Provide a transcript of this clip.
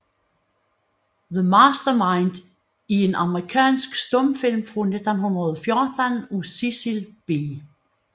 The Master Mind er en amerikansk stumfilm fra 1914 af Cecil B